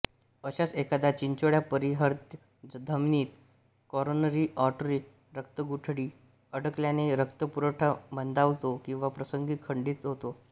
अशाच एखाद्या चिंचोळ्या परिहृद् धमनीत काॅरोनरी आर्टरी रक्तगुठळी अडकल्याने रक्तपुरवठा मंदावतो किंवा प्रसंगी खंडित होतो